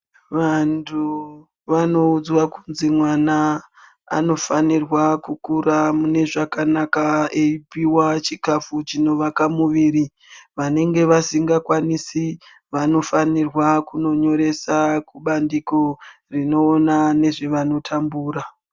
Vantu vanoudzwe kunzi mwana anofanirwa kukura mune zvakanaka eipiwa chikafu chinovaka muviri vanenge vasingakwanisi vanofanirwa kunonyoresa kubandiko rinoona ngezvevanotambura.